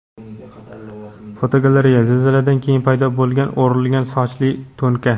Fotogalereya: Zilziladan keyin paydo bo‘lgan "o‘rilgan sochli" to‘nka.